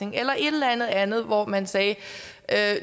et eller andet andet og hvor man sagde at